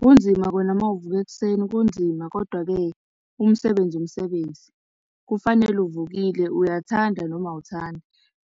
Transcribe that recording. Kunzima kona mawuvuka ekuseni, kunzima, kodwa-ke umsebenzi wumsebenzi. Kufanele uvukile, uyathanda noma awuthandi.